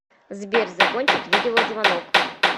сбер закончить видеозвонок